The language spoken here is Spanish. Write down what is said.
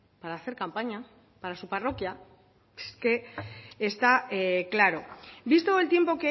para hacer campaña para su parroquia es que está claro visto el tiempo